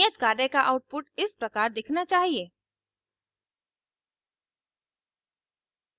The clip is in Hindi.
नियत कार्य का output इस प्रकार दिखना चाहिए